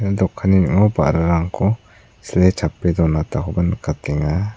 dokanni ning·o ba·rarangko sile chape donakoba nikatenga.